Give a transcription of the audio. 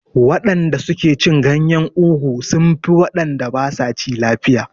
Mutanen da suke cin ganyen ugu sun fi wanda basa ci lafiya